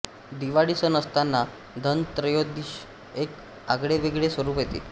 दिवाळी सण असताना धनत्रयोदशीस एक आगळेवेगळे स्वरूप येते